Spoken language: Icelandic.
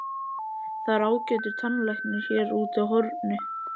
Það er ágætur tannlæknir hér úti á horni.